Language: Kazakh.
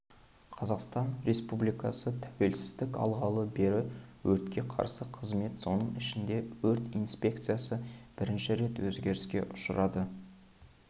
қазақстан республикасы тәуелсіздік алғалы бері өртке қарсы қызмет соның ішінде өрт инспекциясы бірнеше рет өзгеріске ұшырады